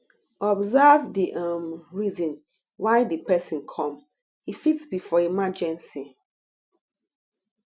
observe di um reason why di person come e fit be for emergency